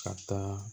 Ka taa